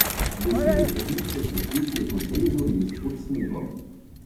Besede svetnice se svetijo kot brezov les pod snegom.